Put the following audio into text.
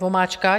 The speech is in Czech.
Vomáčka.